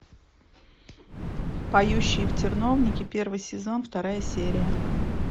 поющие в терновнике первый сезон вторая серия